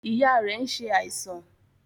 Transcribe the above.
Ìyá rẹ̀ nsẹ àìsàn.